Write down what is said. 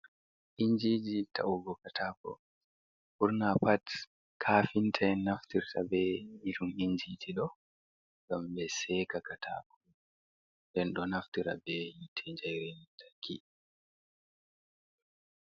Injiji ta’ugo katako, ɓurna pat kaafinta'en naftirta be irin inji ji ɗo ngam ɓe seka kataako, den ɗo naftirta be yiite jei lantarki.